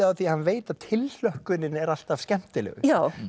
á því að hann veit að tilhlökkunin er alltaf skemmtilegust